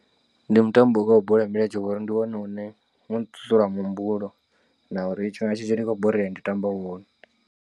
Ndi mutambo wa bola ya milenzhe ngori ndi wone une u nṱuṱula muhumbulo na uri tshifhinga tshinzhi ndi khou borea ndi tamba wone.